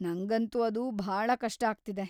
ನಂಗಂತೂ ಅದು ಭಾಳ ಕಷ್ಟ ಆಗ್ತಿದೆ.